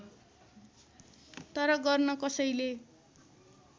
तर गर्न कसैले